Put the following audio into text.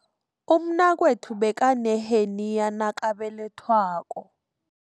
Umnakwethu bekaneheniya nakabelethwako.